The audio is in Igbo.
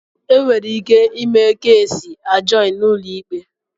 Enwere ike ime keesi ajọọn na ụlọikpe.